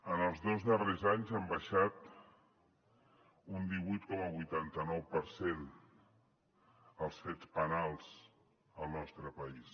en els dos darrers anys han baixat un divuit coma vuitanta nou per cent els fets penals al nostre país